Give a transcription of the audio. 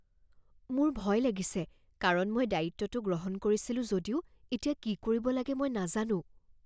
মোৰ ভয় লাগিছে কাৰণ মই দায়িত্বটো গ্ৰহণ কৰিছিলো যদিও এতিয়া কি কৰিব লাগে মই নাজানোঁ।